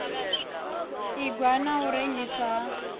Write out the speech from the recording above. ingwa na u rengiswa ha